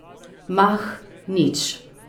Mah, nič.